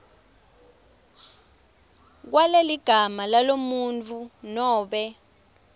kwaleligama lalomuntfu nobe